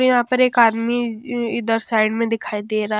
यहां पर एक इइ आदमी इधर साइड में दिखाई दे रा --